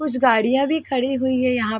कुछ गाड़िया भी खड़ी हुई है यहाँ--